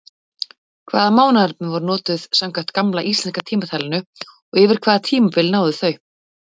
Hvaða mánaðanöfn voru notuð samkvæmt gamla íslenska tímatalinu og yfir hvaða tímabil náðu þau?